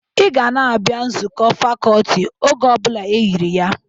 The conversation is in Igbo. Ị ga na-abịa nzụkọ fakọltị oge ọ bụla eyiri ya!